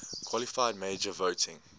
qualified majority voting